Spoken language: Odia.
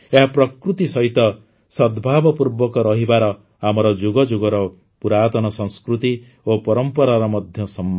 ଏହା ପ୍ରକୃତି ସହିତ ସଦ୍ଭାବପୂର୍ବକ ରହିବାର ଆମର ଯୁଗଯୁଗର ପୁରାତନ ସଂସ୍କୃତି ଓ ପରମ୍ପରାର ମଧ୍ୟ ସମ୍ମାନ